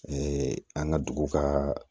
an ka dugu ka